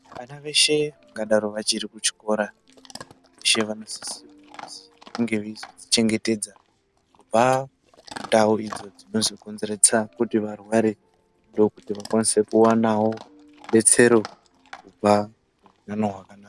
Vana veshe vangadaro vachiri ku chikora veshe vano sisirwa kuzi vange veizodzi chengetedza kubva ku ndau idzo dzinozo konzeretsa kuti varware ndokuti vakwanise kuwanawo rubetsero kubva mu utano hwakanaka.